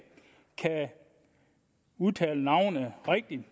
kan udtale navnet rigtigt